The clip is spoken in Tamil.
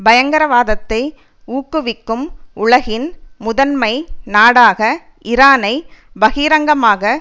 பயங்கரவாதத்தை ஊக்குவிக்கும் உலகின் முதன்மை நாடாக ஈரானை பகிரங்கமாக